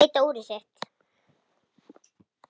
Hún leit á úrið sitt.